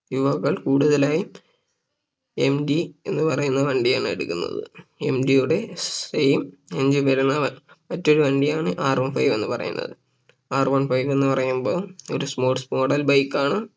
യുവാക്കൾ കൂടുതലായി MT എന്ന് പറയുന്ന വണ്ടിയാണ് എടുക്കുന്നത് MT യുടെ Same engine വരുന്ന മറ്റൊരു വണ്ടിയാണ് R One five എന്ന് പറയുന്നത് R One five എന്ന് പറയുമ്പോ ഒരു Sports model bike ആണ്